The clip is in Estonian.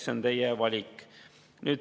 " See on teie valik.